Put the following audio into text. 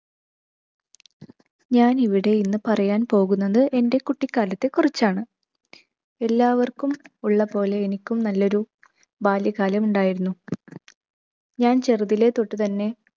ഞാൻ ഇവിടെ ഇന്ന് പറയാൻ പോകുന്നത് എൻ്റെ കുട്ടിക്കാലത്തെക്കുറിച്ചാണ്. എല്ലാവർക്കും ഉള്ളപോലെ എനിക്കും നല്ലൊരു ബാല്യ കാലം ഉണ്ടായിരുന്നു. ഞാൻ ചെറുതിലെ തൊട്ടു തന്നെ